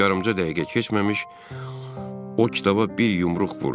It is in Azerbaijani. Heç yarımca dəqiqə keçməmiş o kitaba bir yumruq vurdu.